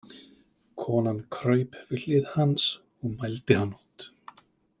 Konan kraup við hlið hans og mældi hann út.